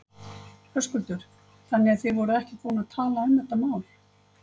Höskuldur: Þannig að þið voruð ekkert búin að tala um þetta mál?